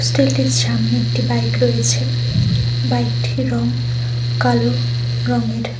Hostel টির সামনে একটি বাইক রয়েছে। বাইক টির রঙ কালো রঙের।